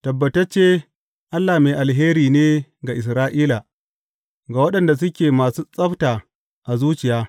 Tabbatacce Allah mai alheri ne ga Isra’ila, ga waɗanda suke masu tsabta a zuciya.